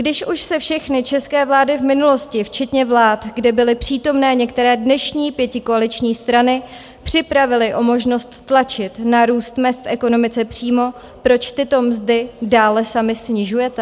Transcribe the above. Když už se všechny české vlády v minulosti, včetně vlád, kde byly přítomné některé dnešní pětikoaliční strany, připravily o možnost tlačit na růst mezd v ekonomice přímo, proč tyto mzdy dále sami snižujete?